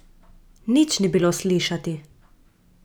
Nič ni bilo slišati.